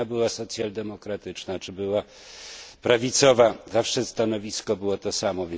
czy ona była socjaldemokratyczna, czy była prawicowa, zawsze stanowisko było to samo.